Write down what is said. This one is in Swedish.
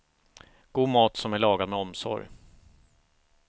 God mat som är lagad med omsorg.